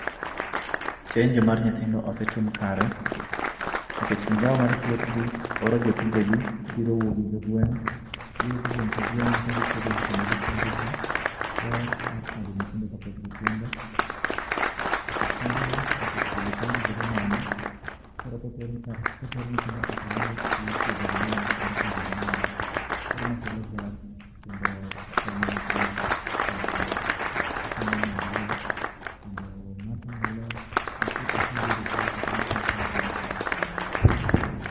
Chenjo mar nyithindo osetim kare nikech migao mar thieth gi oro jotije gi biro wuoyo gi jogweng'. Giwuothe gweng' ka gweng' kendo gipuonjo jii ber mar chanjo nyithindo. Osiptende gi osekelo chanjo bedo nono koro koro koter nyithindo e klinik ithiedho gi nono kendo ichanjo gi nono koro ma kelo ber kendo okonyo nyithindo okonyo oganda okonyo mon go kendo ng'ato nyalo